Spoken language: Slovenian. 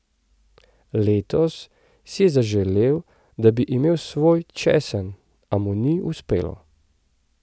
Letos si je zaželel, da bi imel svoj česen, a mu ni uspelo.